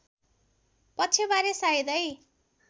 पक्षबारे सायदै